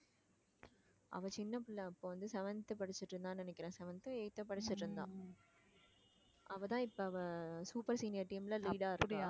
அவ சின்ன பிள்ளை அப்ப வந்து seventh படிச்சுட்டு இருந்தான்னு நினைக்கிறேன் seventh ஒ eighth ஒ படிச்சுட்டு இருந்தான் அவ தான் இப்ப அவ super senior team ல lead ஆ இருக்கா